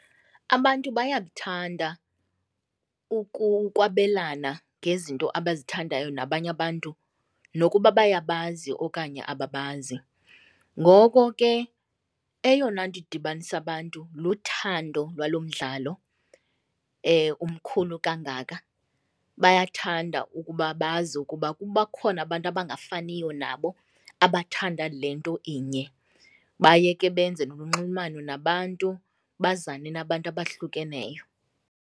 Abantu bayakuthanda ukwabelana ngezinto abazithandayo nabanye abantu nokuba bayabazi okanye ababazi, ngoko ke eyona nto idibanisa abantu luthando lwalo mdlalo umkhulu kangaka. Bayathanda ukuba bazi ukuba bakhona abantu abangafaniyo nabo abathanda le nto inye. Baye ke benze nolunxulumano nabantu, bazane nabantu abahlukeneyo.